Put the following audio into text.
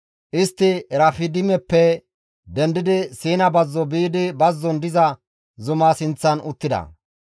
Istti Erafidimeppe dendidi Siina bazzo biidi bazzon diza zumaa sinththan uttida.